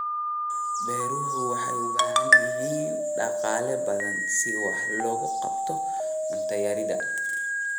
Beeruhu waxay u baahan yihiin dhaqaale badan si wax looga qabto cunto yarida.